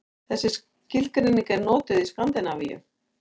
Þessi skilgreining er notuð í Skandinavíu.